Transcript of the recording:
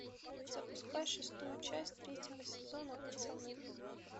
запускай шестую часть третьего сезона пацаны